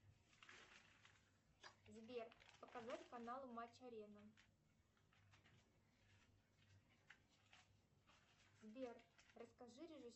сбер показать канал матч арена сбер расскажи